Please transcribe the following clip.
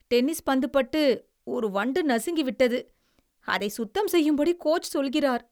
Tennis பந்து பட்டு ஒரு வண்டு நசுங்கிவிட்டது, அதை சுத்தம் செய்யும்படி கோச் சொல்கிறார்.